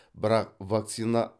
бірақ вакцина